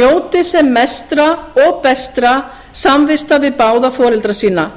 njóti sem mestra og bestra samvista við báða foreldra